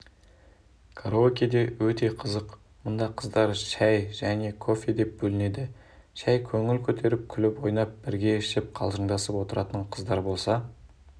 караокеде өте қызық мұнда қыздар шай және кофе деп бөлінеді шай көңіл-көтеріп күліп-ойнап бірге ішіп қалжыңдасып отыратын қыздар болса